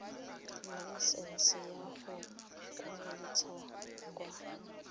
laesesnse ya go kgweetsa kwa